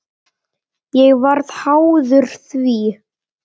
Ég varð háður því.